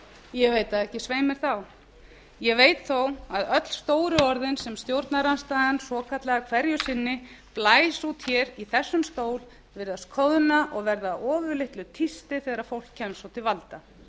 ég veit það ekki svei mér þá ég veit þó að öll stóru orðin sem stjórnarandstaðan svokallaða hverju sinni blæs út hér í þessum stól virðast koðna og verða að ofurlitlu tísti þegar fólk kemst svo til valda